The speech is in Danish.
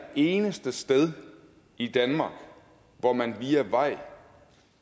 eneste sted i danmark hvor man via vej